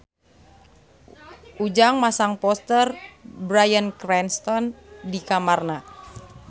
Ujang masang poster Bryan Cranston di kamarna